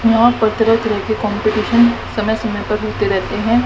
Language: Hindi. यहां पर तरह तरह के कॉम्पिटिशन समय समय पर होते रहते हैं।